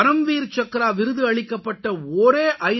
பரம்வீர் சக்ரா விருது அளிக்கப்பட்ட ஒரே ஐ